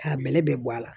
K'a bɛlɛ bɛɛ bɔ a la